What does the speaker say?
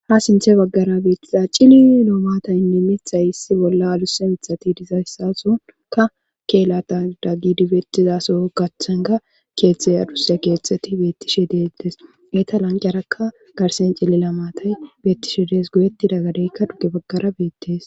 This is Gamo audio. ha sinthe baggara beettiza cili lo7omatayinne mithay issi bolla adusse mithati dizayssasonka keelata daggidibetizaso gaththanga keeththey adusya keeththati beettishe deettes eta lanqiyarakka garsen cillila matay beettishe dees goyetti daggadeykka duge baggara beettees